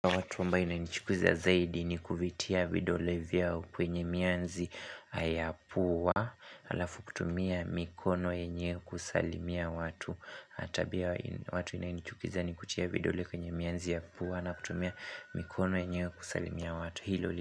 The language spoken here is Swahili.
Watu ambayo inanichukiza zaidi ni kuvitia vidole vyao kwenye mianzi ya pua Alafu kutumia mikono yenyewe kusalimia watu. Tabia ya watu inayonichukiza ni kutia vidole kwenye miazi ya pua na kutumia mikono yenyewe kusalimia watu, hilo.